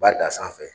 Ba da sanfɛ